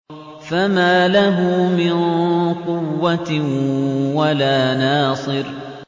فَمَا لَهُ مِن قُوَّةٍ وَلَا نَاصِرٍ